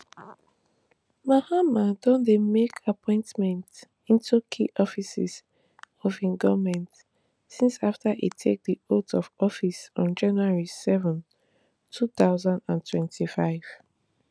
mahama don dey make appointnents into key offices of im goment since after e take di oath of office on january seven two thousand and twenty-five